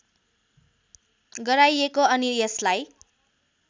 गराइएको अनि यसलाई